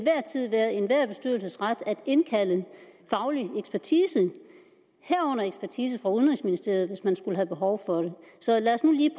tid være enhver bestyrelses ret at indkalde faglig ekspertise herunder ekspertise fra udenrigsministeriet hvis man skulle have behov for det så lad os nu lige